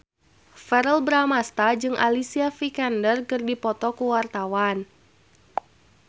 Verrell Bramastra jeung Alicia Vikander keur dipoto ku wartawan